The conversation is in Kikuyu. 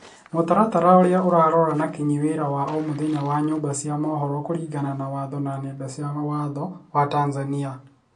Mũtaratara ũrĩa ũrarora na kinyi wĩra wa omũthenya wa nyũmba cĩa mohoro kũringana na watho wa nenda na watho wa Tanzania